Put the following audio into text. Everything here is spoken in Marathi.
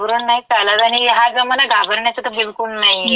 घाबरून नाई चालत आणि हा जमाना घाबरण्याचा तं बिलकुल नाहीये.